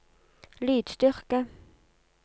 lydstyrke